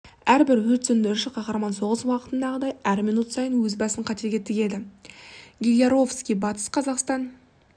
әрбір өрт сөндіруші қаһарман соғыс уақытындағыдай әр минут сайын өз басын қатерге тігеді гиляровский батыс қазақстан